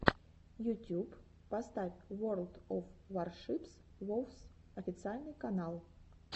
ютюб поставь ворлд оф варшипс вовс официальный канал